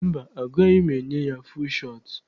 Mba, agaghị m enye ya fuul shọt.